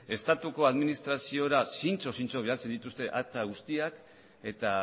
estatuko administraziora zintzo zintzo bidaltzen dituzte akta guztiak eta